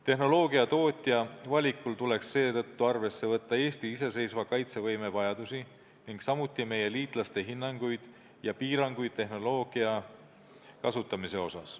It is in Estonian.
Tehnoloogia tootja valikul tuleks seetõttu arvesse võtta Eesti iseseisva kaitsevõime vajadusi ning samuti meie liitlaste hinnanguid ja piiranguid tehnoloogia kasutamise osas.